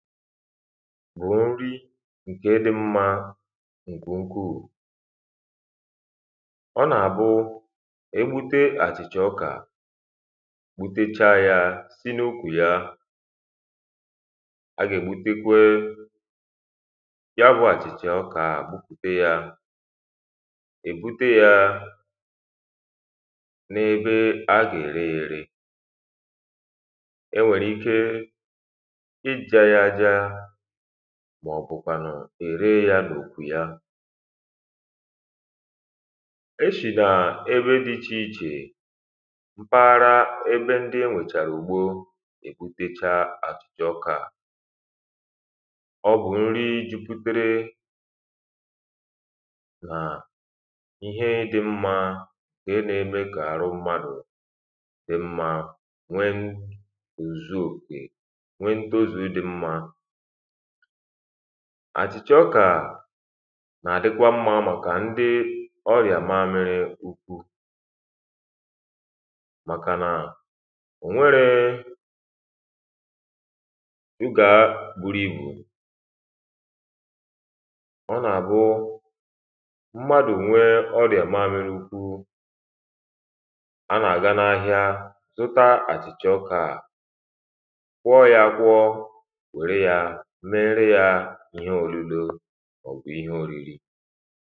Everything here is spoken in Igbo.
Mà ori ǹkẹ̀ dị̀ mmā ǹkẹ̀ ukwuu Ọ nà-abụụ e ebute àchị̀chà ọkà gbutecha ya si n’ukwù ya a ga-ègbutekwee ya bụ àchị̀chà ọkà ahụ̀ gbupute ya è bute ya n’ebe a gà-ẹ̀rẹ̀ ya ẹ̀rẹ̀ e nwẹ̀rẹ̀ ike ịja ya aja màọ̀bụ̀ kwanụ̀ e ree ya n’ukwu ya e shinà ẹ̀bẹ̀ dị ichèichè m̀paghara ẹ̀bẹ̀ ǹdị e wètèrè ùgbo egbuteche achịcha ọka à ọ bụ̀ ǹri juputẹrẹ nà ihẹ dị mmā ǹkẹ̀ nà-eme kà arụ̀ m̀madụ̀ dɪ́ ḿmā nwẹẹ ǹnukwu òzùzù òkè nwee ǹtozū dị ḿmā Achịcha ọka nà-àdịkwa ḿmā màkà ǹdị ọrịà mamịrị ukwuu màkàna ó nwẹrẹẹ sugaa buru ibū Ọ nà-àbụụ m̀madụ nwẹẹ ọrịa màmịrị ukwuu, a nà-àgà n’ahịa zụta àchị̀chà ọkà gwụọ ya agwụọ nwẹ̀rẹ̀ ya mẹ́ẹ́rẹ́ ya ihẹ òlulò màọbụ̀ ihẹ òrìrì